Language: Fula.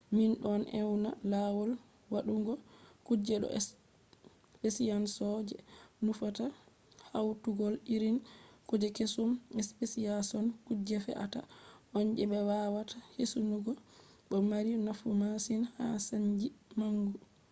min don ewna lawol waɗugo kuje ɗo speciason je nufata hautugo irin kuje keesum. speciashon kuje fe’ata on je be wawata hisugo bo mari nafu masin ha saanji mangu